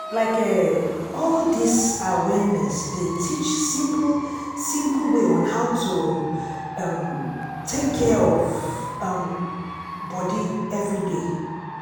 like eh all dis awareness dey teach simple simple way on how to um take care of um body everyday.